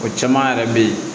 O caman yɛrɛ bɛ ye